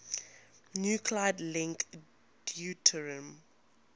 nuclide link deuterium